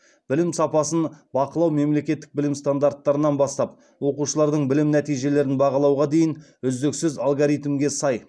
білім сапасын бақылау мемлекеттік білім стандарттарынан бастап оқушылардың білім нәтижелерін бағалауға дейін үздіксіз алгоритмге сай